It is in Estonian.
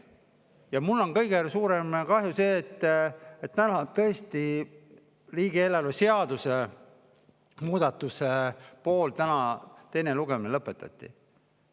Ja mul on kõige kahju sellest, et täna tõesti riigieelarve seaduse muudatuse teine lugemine lõpetati.